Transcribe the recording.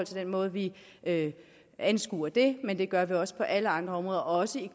den måde vi anskuer det men det gør vi også på alle andre områder også i